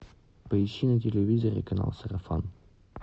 поищи на телевизоре канал сарафан